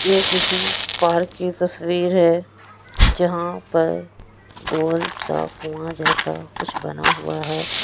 ये किसी पार्क की तस्वीर है जहां पर गोल सा कुआं जैसा कुछ बना हुआ है।